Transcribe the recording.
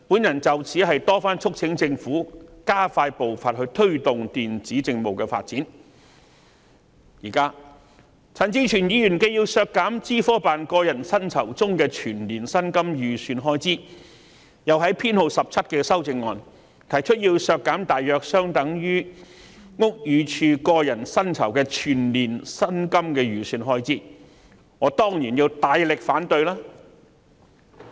有見及此，我曾多番促請政府加快步伐，推動電子政務的發展，但陳志全議員現時既要削減資科辦個人薪酬中的全年薪金預算開支，又在第17號修正案中，提出削減大約相當於屋宇署個人薪酬的全年薪金預算開支，我當然要大力反對。